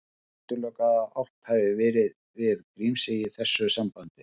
Útilokað er að átt hafi verið við Grímsey í þessu sambandi.